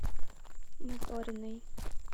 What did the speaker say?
моториной